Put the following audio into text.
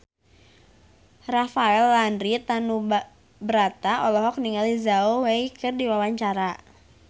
Rafael Landry Tanubrata olohok ningali Zhao Wei keur diwawancara